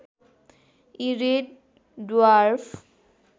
यी red dwarf